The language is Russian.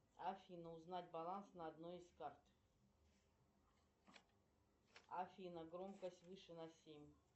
афина узнать баланс на одной из карт афина громкость выше на семь